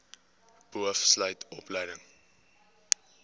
boov sluit opleiding